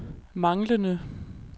manglende